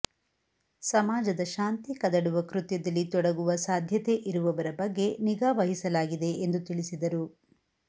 ಸಮಾಜದ ಶಾಂತಿ ಕದಡುವ ಕೃತ್ಯದಲ್ಲಿ ತೊಡಗುವ ಸಾಧ್ಯತೆ ಇರುವವರ ಬಗ್ಗೆ ನಿಗಾ ವಹಿ ಸಲಾಗಿದೆ ಎಂದು ತಿಳಿಸಿದರು